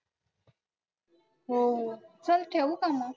हो. चल ठेऊ का मग?